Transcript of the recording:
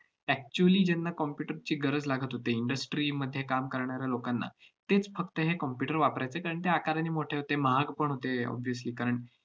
actually ज्यांना computer ची गरज लागत होती industry मध्ये करणाऱ्या लोकांना, तेच फक्त हे computer वापरायचे. कारण ते आकाराने मोठे होते, महाग पण होते obviousely कारण,